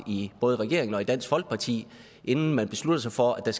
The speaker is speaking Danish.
i både regeringen og dansk folkeparti inden man besluttede sig for at der